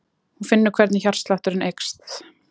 Hún finnur hvernig hjartslátturinn eykst.